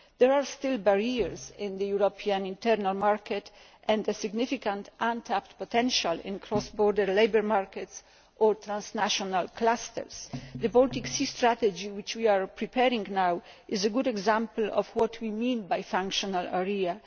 There are still barriers in the European internal market, and significant untapped potential in cross border labour markets and transnational clusters. The Baltic Sea Strategy, which we are preparing now, is a good example of what we mean by a functional area.